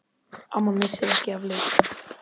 Amma missir ekki af leik.